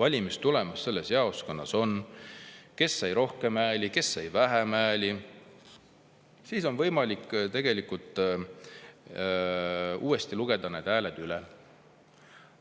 valimistulemus selles jaoskonnas on, kes sai rohkem hääli, kes sai vähem hääli, siis on tegelikult võimalik uuesti need hääled üle lugeda.